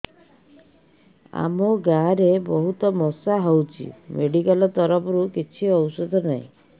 ଆମ ଗାଁ ରେ ବହୁତ ମଶା ହଉଚି ମେଡିକାଲ ତରଫରୁ କିଛି ଔଷଧ ନାହିଁ